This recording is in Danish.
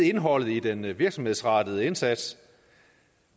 indholdet i den virksomhedsrettede indsats